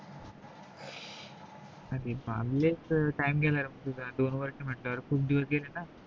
ते फावलेच time गेल रे तुझा दोन वर्ष म्हटल्यावर खूप दिवस गेले न